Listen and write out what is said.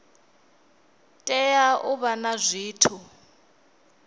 tea u vha na zwithu